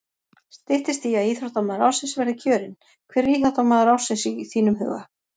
Styttist í að íþróttamaður ársins verði kjörinn, hver er íþróttamaður ársins í þínum huga?